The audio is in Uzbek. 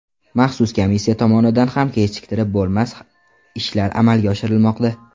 Maxsus komissiya tomonidan ham kechiktirib bo‘lmas ishlar amalga oshirilmoqda.